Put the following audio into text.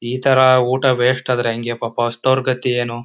ಇತರ ಊಟ ವೇಸ್ಟ್ ಆದ್ರೆ ಎಂಗೆ ಪಾಪ ಹಸಿದೊರ್ ಗತಿ ಏನು.